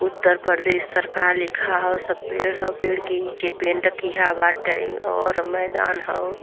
उत्तर प्रदेश सरकार लिखा हाउ। सब पेड़ हाउ। पेड़ के नीचे पेंट किहा बाटे और मैंदान हाउ --